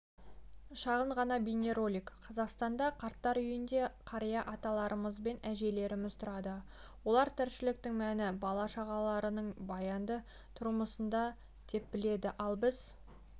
шағын ғана бейнеролик қазақстанда қарттар үйінде қария аталарымыз бен әжелеріміз тұрады олар тіршіліктің мәні бала-шағаларының баянды тұрмысында деп біледі ал біз